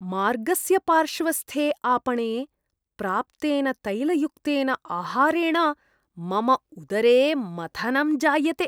मार्गस्य पार्श्वस्थे आपणे प्राप्तेन तैलयुक्तेन आहारेण मम उदरे मथनं जायते।